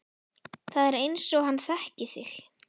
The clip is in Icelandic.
Það er einsog hann þekki þig